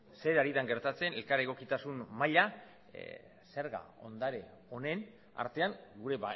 zer ari den gertatzen elkar egokitasun maila zerga ondare honen artean gure